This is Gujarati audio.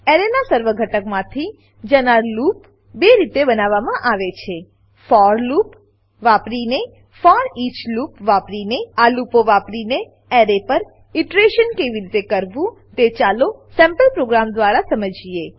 એરેનાં સર્વ ઘટકમાંથી જનાર લૂપ બે રીતે બનાવવામાં આવે છે ફોર લૂપ ફોર લૂપ વાપરીને ફોરીચ લૂપ ફોરઈચલૂપ વાપરીને આ લૂપો વાપરીને એરે પર ઈટરેશન કેવી રીતે કરવું તે ચાલો સેમ્પલ પ્રોગ્રામ દ્વારા સમજી લઈએ